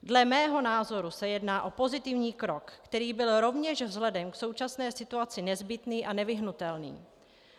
Dle mého názoru se jedná o pozitivní krok, který byl rovněž vzhledem k současné situaci nezbytný a nevyhnutelný.